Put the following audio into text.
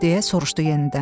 deyə soruşdu yenidən.